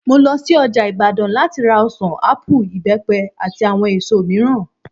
Mo lo sí ọjà Ìbàdàn láti ra ọ̀sàn, ápù, ìbẹ́pẹ, àti àwọn èso mìíràn